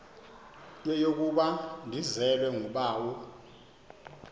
yeyokuba ndizelwe ngubawo